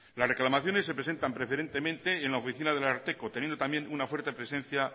las reclamaciones se presentan preferentemente en la oficina del ararteko teniendo también una fuerte presencia